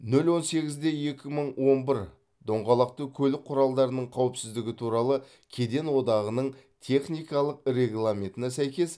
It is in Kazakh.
нөл он сегіз де екі мың он бір доңғалақты көлік құралдарының қауіпсіздігі туралы кеден одағының техникалық регламентіне сәйкес